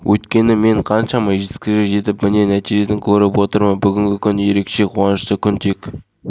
кәсіпорынның баспасөз қызметінен мәлімдегендей қазақстан алюминийі басшылығы көп балалы және отбасы толық емес қызметкерлердің балаларының жаңа